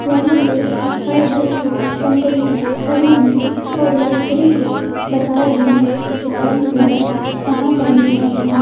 यहां पे हर बस के कंडक्टर खड़े हैं और यात्री को बता रहे हैं कि कौन सी बस कहां जाने वाली है।